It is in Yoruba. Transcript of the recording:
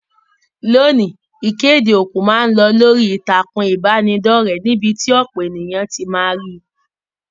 Loni, ìkéde òkú ma n lo lórí ìtàkùn ìbánidọ́rẹ̀ níbí ti ọ̀pọ̀ éyàn ti ma ri